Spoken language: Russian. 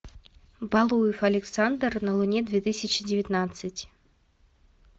валуев александр на луне две тысячи девятнадцать